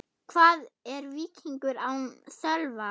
Hvað er Víkingur án Sölva?